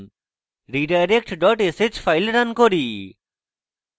redirect dot sh file run করি